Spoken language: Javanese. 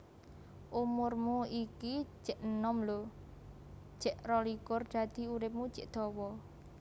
Umurmu iki jek enom lho jek rolikur dadi uripmu jek dawa